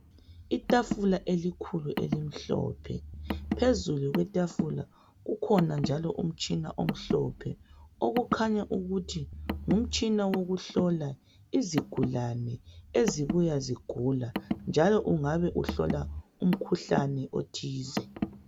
Itafula elikhulu elimhlophe phezulu kwetafula kukhona njalo umtshina omhlophe okukhanya ukuthi ngumtshina wokuhlola izigulane ezibuya zigula njalo ungabe uhlola umkhuhlane othize.